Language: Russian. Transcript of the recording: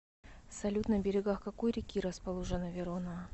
салют на берегах какой реки расположена верона